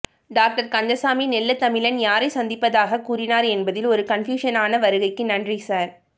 doctor Kandasamy நெல்ல தமிழன் யாரை சந்திப்பதாகக் கூறினார் என்பதில் ஒருகன்ஃப்யூஷனா வருகைக்கு நன்றி சார்